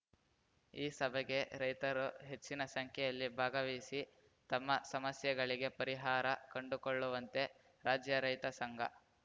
ಈ ಸಭೆಗೆ ರೈತರು ಹೆಚ್ಚಿನ ಸಂಖ್ಯೆಯಲ್ಲಿ ಭಾಗವಹಿಸಿ ತಮ್ಮ ಸಮಸ್ಯೆಗಳಿಗೆ ಪರಿಹಾರ ಕಂಡುಕೊಳ್ಳುವಂತೆ ರಾಜ್ಯ ರೈತ ಸಂಘ